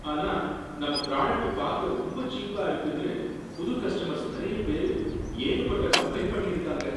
ஆனா, நம்ம ப்ராடக்ட் பாக்க ரொம்ப சீப்பா இருக்குன்னு புது கஸ்டமர்ஸ் நறைய பேரு ஏகப்பட்ட கம்ப்ளைண்ட் பண்ணியிருக்காங்க.